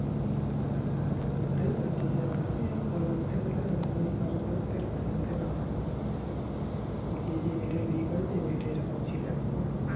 ওটাই বলছি যে আমাকে পরবর্তী কালে অন্য কারোর কাছ থেকে ফোন কেনা হয় যে এই মেয়েটা বিয়ে করেছে এই মেয়েটা এইরকম ছিল এক সময়